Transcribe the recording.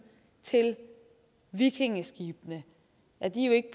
til vikingeskibene at de jo ikke